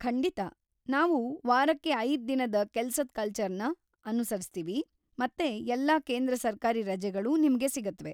ಖಂಡಿತಾ, ನಾವು ವಾರಕ್ಕೆ ಐದ್ ದಿನದ ಕೆಲ್ಸದ್ ಕಲ್ಚರ್‌ನ ಅನುಸರಿಸ್ತೀವಿ ಮತ್ತೆ ಎಲ್ಲಾ ಕೇಂದ್ರ ಸರ್ಕಾರಿ ರಜೆಗಳು ನಿಮ್ಗೆ ಸಿಗುತ್ವೆ.